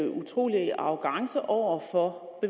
utrolig arrogance over for